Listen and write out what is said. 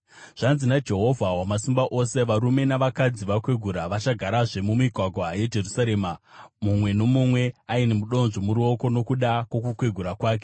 Zvanzi naJehovha Wamasimba Ose: “Varume navakadzi vakwegura vachagarazve mumigwagwa yeJerusarema, mumwe nomumwe aine mudonzvo muruoko nokuda kwokukwegura kwake.